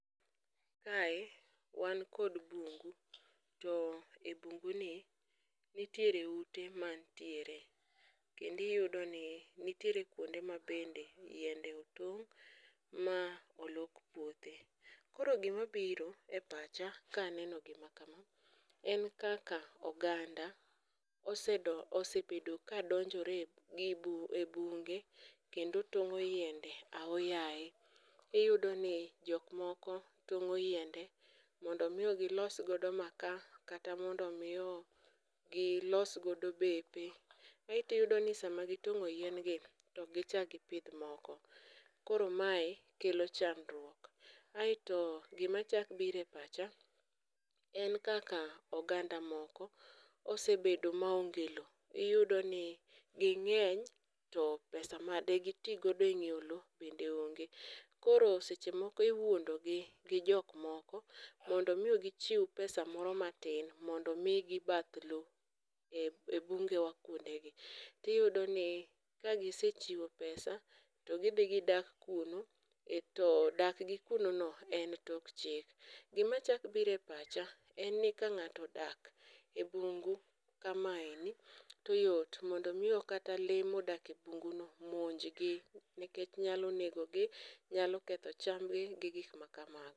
Kae wan kod bungu, to e bunguni nitiere ute manitiere kendo iyudoni nitiere kwonde mabende yiende otong' ma olok puothe, koro gimabiro e pacha kaneno gima kama, en kaka oganda osebedo kadonjore e bunge kendo tong'o yiende ao yaye, iyudoni jokmoko tong'o yiende mondo omi gilos godo maka kata mondo omi gilos godo bepe, aeto iyudo ni sama gitong'o yien gi to ok gichak gipidh moko, koro mae kelo chadruok, aeto gimachako biro e pacha en kaka oganda moko osebedo maonge lowo, iyudo ni ging'eny to pesa ma digi ti godo e nyiewo lowo bende onge, koro seche moko iwuondogi mondo omi gichiw pesa moro matin mondo omigi bath loo e bungewa kwondegi, tiyudoni kagisechiwo pesa, to gidhi gidak kuno, to dakgi kunono en tok chik. Gimachako biro e pacha en ni ka ng'ato odak e bungu kamaeni to yot mondo omi kata lee modak e bunguno monjgi nikech nyalo negogi, nyalo ketho chambgi gi gik machal kamago.